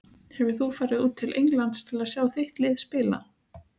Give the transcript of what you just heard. Hefur þú farið út til Englands til að sjá þitt lið spila?